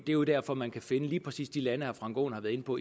jo derfor man kan finde lige præcis de lande som herre frank aaen har været inde på